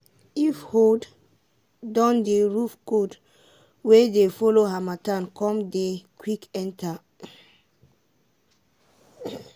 if hold don dey roof cold wey dey follow harmattan come dey quick enter.